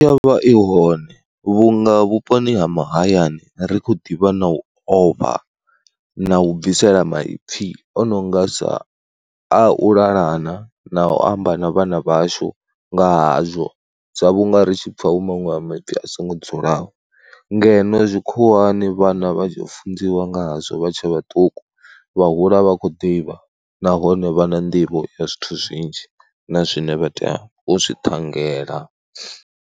Yo vha i hone vhunga vhuponi ha mahayani ri khou ḓivha na u ofha na u bvisela maipfhi o no nga sa a u lalana na u amba na vhana vhashu nga hazwo, sa vhunga ri tshi pfha hu maṅwe a maipfhi a songo dzulaho ngeno tzwikhuwani vhana vha tshi funziwa ngazwo vha tshe vhaṱuku, vha hula vha kho ḓivha nahone vha na nḓivho ya zwithu zwinzhi na zwine vha tea u zwi ṱhangela.